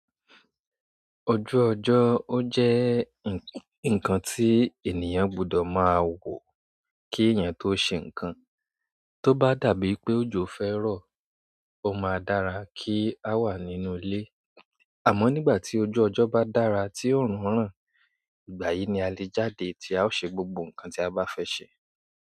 Ojú ọjọ́ ó jẹ́ ǹnkan tí ènìyàn gbúdọ̀ máa wò kí èèyàn tó ṣe ǹnkan. Tó bá dàbí pé òjò fẹ́ rọ̀, ó máa dára kí a wà nínú ilé. Àmọ́ nígbà tí ojú ọjọ́ bá dára tí òórùn rán, ìgbà yìí ni a lè jáde tí a ó ṣe gbogbo ǹnkan tí a bá fẹ́ ṣe.